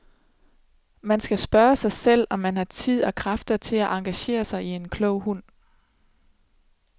Man skal spørge sig selv, om man har tid og kræfter til at engagere sig i en klog hund.